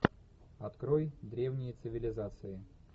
открой древние цивилизации